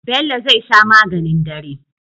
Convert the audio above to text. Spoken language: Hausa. Bello zai sha maganin dare